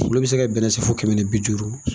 Olu bi se ka bɛnnɛ san fo kɛmɛ ni bi duuru